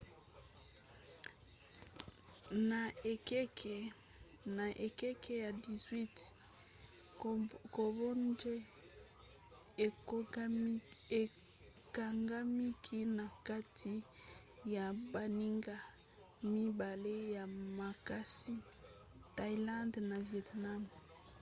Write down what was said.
na ekeke ya 18 cambodge ekangamaki na kati ya baninga mibale ya makasi thaïlande na vietnam